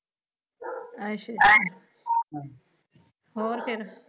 ਅੱਛਾ ਹੋਰ ਫਿਰ?